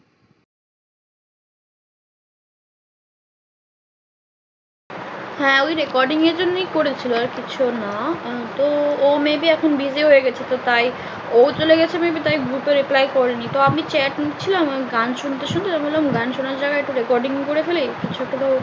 হ্যাঁ ওই recording এর জন্য করেছিল আর কিছু না তো ও may be এখন busy হয়ে গেছে তো তাই ও চলে গেছে may be তাই group এ reply করিনি তো আমি chat লিখছিলাম আমি গান শুনতে শুনতে আমি ভাবলাম গান শোনা ছাড়া একটু recording করে ফেলি কিছু তো